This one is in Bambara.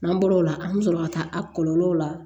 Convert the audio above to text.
N'an bɔr'o la an bɛ sɔrɔ ka taa a kɔlɔlɔw la